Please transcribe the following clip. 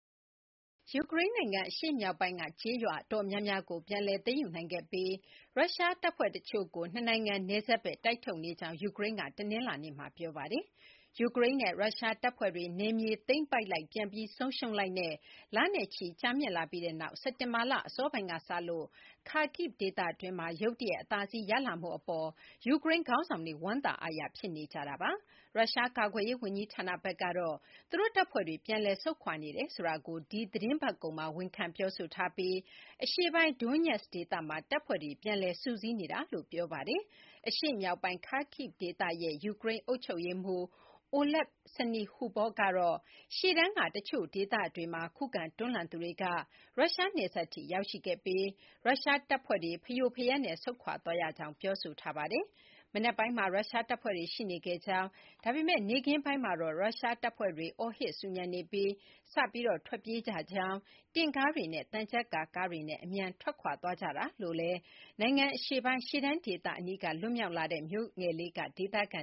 ယူကရိန်း နိုင်ငံ အရှေ့မြောက်ပိုင်းက ကျေးရွာ အတော်များများကို ပြန်လည် သိမ်းယူနိုင်ခဲ့ပြီး ရုရှား တပ်ဖွဲ့ တချို့ နှစ်နိုင်ငံ နယ်စပ်ဘက်ကို တိုက်ထုတ်နေကြောင်း ယူကရိန်းကတနလာၤနေ့မှာ ပြောပါတယ်။ ယူကရိန်းနဲ့ ရုရှား တပ်ဖွဲ့တွေ နယ်မြေ သိမ်းပိုက်လိုက်၊ ပြန်ပြီး ဆုံးရှုံးလိုက်နဲ့ လနဲ့ချီ ကြာမြင့်လာပြီးနောက် စက်တင်ဘာလ အစောပိုင်းက စလို့ Kharkiv ဒေသတွင်းမှာ ရုတ်တရက် အသာစီးရလာမှု အပေါ် ယူကရိန်း ခေါင်းဆောင်တွေ ဝမ်းသာအားရ ဖြစ်နေကြပါတယ်။ ရုရှား ကာကွယ်ရေး ဝန်ကြီးဌာနဘက်ကတော့ သူတို့ တပ်ဖွဲ့တွေ ပြန်လည် ဆုတ်ခွာနေတယ်ဆိုတာကို ဒီ သီတင်းပတ်ကုန်မှာ ဝန်ခံပြောဆိုထားပြီး အရှေ့ပိုင်း Donetsk ဒေသမှာ တပ်ဖွဲ့တွေ ပြန်လည် စုစည်းနေတာလို့ ပြောဆိုထားပါတယ်။ အရှေ့မြောက်ပိုင်း Kharkiv ဒေသရဲ့ ယူကရိန်း အုပ်ချုပ်ရေးမှူး Oleh Syniehubov ကတော့ ရှေ့တန်းက တချို့ ဒေသတွေမှာ ခုခံ တွန်းလှန်းသူတွေက ရုရှား နယ်စပ်ထိ ရောက်ရှိခဲ့ပြီး ရုရှား တပ်ဖွဲ့တွေ ဖရိုဖရဲနဲ့ ဆုတ်ခွာသွားရကြောင်း ပြောဆိုထားပါတယ်။ မနက်ပိုင်းမှာ ရုရှား တပ်ဖွဲ့တွေ ရှိနေခဲ့ကြောင်း၊ ဒါပေမယ့် နေ့ခင်းပိုင်းမှာတော့ ရုရှားတပ်ဖွဲ့တွေ အော်ဟစ် ဆူညံနေပြီး စပြီး ထွက်ပြေးကြကြောင်း၊ တင့်ကားတွေနဲ့ သံချပ်ကာ ကားတွေနဲ့ အမြန် ထွက်ခွာသွားကြကြောင်း နိုင်ငံ အရှေ့ပိုင်း ရှေ့တန်း ဒေသ အနီးက လွတ်မြောက်လာတဲ့ Zaliznychne မြို့ငယ်လေးက ဒေသခံ